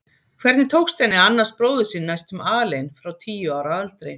Hvernig tókst henni að annast bróður sinn næstum alein frá tíu ára aldri?